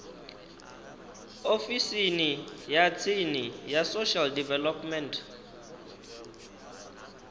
ofisini ya tsini ya social development